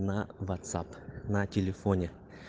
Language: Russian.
на вотсап на телефоне